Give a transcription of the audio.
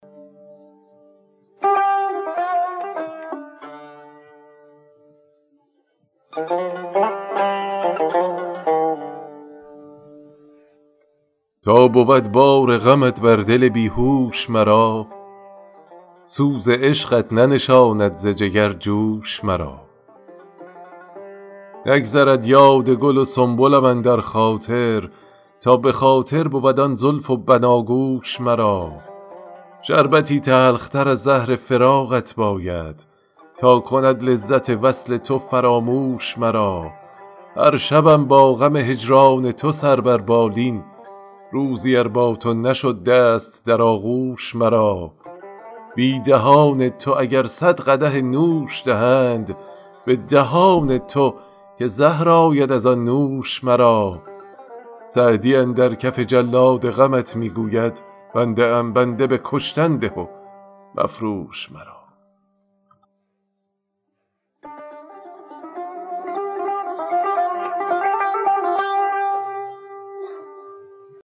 تا بود بار غمت بر دل بی هوش مرا سوز عشقت ننشاند ز جگر جوش مرا نگذرد یاد گل و سنبلم اندر خاطر تا به خاطر بود آن زلف و بناگوش مرا شربتی تلختر از زهر فراقت باید تا کند لذت وصل تو فراموش مرا هر شبم با غم هجران تو سر بر بالین روزی ار با تو نشد دست در آغوش مرا بی دهان تو اگر صد قدح نوش دهند به دهان تو که زهر آید از آن نوش مرا سعدی اندر کف جلاد غمت می گوید بنده ام بنده به کشتن ده و مفروش مرا